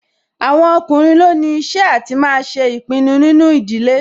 Àwọn ọkùnrin ló ní iṣẹ́ àti máa ṣe ìpinnu nínú ìdílé